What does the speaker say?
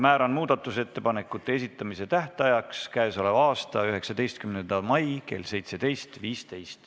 Määran muudatusettepanekute esitamise tähtajaks k.a 19. mai kell 17.15.